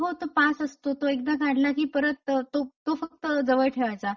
हो तो पास असतो. एकदा काढला की परत तो फक्त जवळ ठेवायचा.